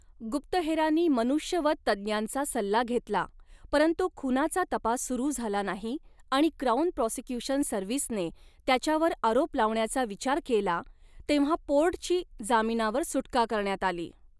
गुप्तहेरांनी मनुष्यवध तज्ञांचा सल्ला घेतला परंतु खुनाचा तपास सुरू झाला नाही आणि क्राउन प्रॉसिक्यूशन सर्व्हिसने त्याच्यावर आरोप लावण्याचा विचार केला तेव्हा पोर्टची जामिनावर सुटका करण्यात आली.